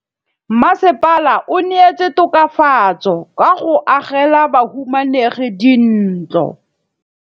Mmasepala o neetse tokafatsô ka go agela bahumanegi dintlo.